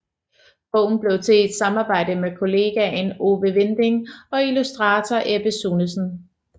Bogen blev til i et samarbejde med kollegaen Ove Winding og illustrator Ebbe Sunesen